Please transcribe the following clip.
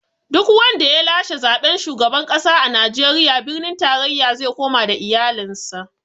Duk wanda ya lashe zaɓen shugaban ƙasa a Najeriya, birnin tarayya ze koma da iyalin sa